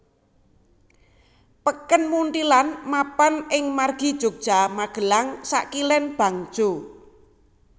Peken Munthilan mapan ing margi Yogya Magelang sakilèn bangjo